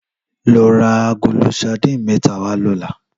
Lò rà àgóló sàdín mètá wá lòlá